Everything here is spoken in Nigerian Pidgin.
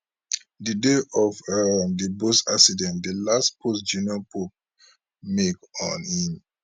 di day of um di boat accident di last post junior pope make on im